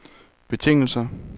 betingelser